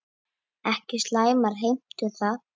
Ekki slæmar heimtur það.